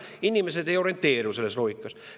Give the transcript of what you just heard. Inimesed ei orienteeru selles loogikas.